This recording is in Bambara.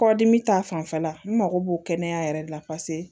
Kɔdimi ta fanfɛla n mago b'o kɛnɛya yɛrɛ de la paseke